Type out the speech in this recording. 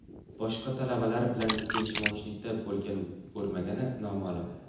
Boshqa talabalar bilan kelishmovchilikda bo‘lgan-bo‘lmagani noma’lum.